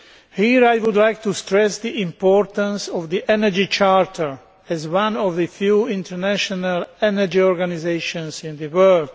Here I would like to stress the importance of the Energy Charter as one of the few international energy organisations in the world.